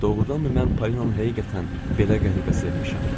Doğrudanmı mən Polinanı həqiqətən belə qəribə sevmişəm?